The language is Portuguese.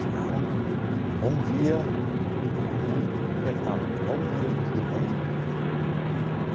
Chegavam, bom dia, dava a mão, apertavam, bom dia, tudo bem.